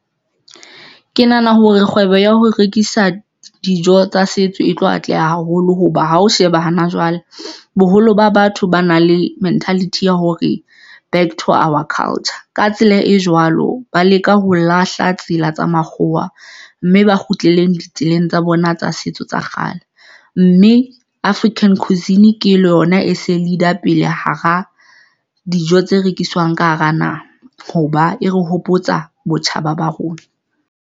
Ke nahana hore kgwebo ya ho rekisa dijo tsa setso e tlo atleha haholo hoba ha o sheba hana jwale boholo ba batho ba na le mentality ya hore back to our culture ka tsela e jwalo, ba leka ho lahla tsela tsa makgowa mme ba kgutlele ditseleng tsa bona tsa setso tsa kgale mme African cuisine ke le yona e se Leader pele hara dijo tse rekiswang, ka hara na hoba e re hopotsa botjhaba ba rona.